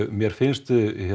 mér finnst